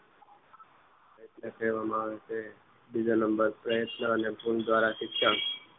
એટલે કહેવામાં આવે છે બીજા નંબર પ્રયત્ન અને ભૂલ દ્વારા શિક્ષણ